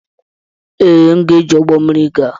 Ee, m ga-eji ụgbọ mmiri gaa.